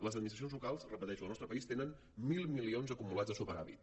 les administracions locals ho repeteixo del nostre país tenen mil milions acumulats de superàvit